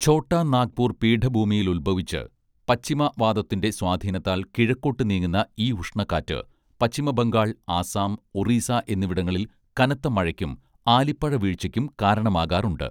ഛോട്ടാ നാഗ്പൂർ പീഠഭൂമിയിലുത്ഭവിച്ച് പശ്ചിമ വാതത്തിന്റെ സ്വാധീനത്താൽ കിഴക്കോട്ട് നീങ്ങുന്ന ഈ ഉഷ്ണക്കാറ്റ് പശ്ചിമ ബംഗാൾ ആസ്സാം ഒറീസ എന്നിവിടങ്ങളിൽ കനത്ത മഴയ്ക്കും ആലിപ്പഴ വീഴ്ചയ്ക്കും കാരണമാകാറുണ്ട്